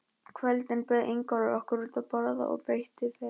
kvöldin bauð Ingólfur okkur út að borða og veitti vel.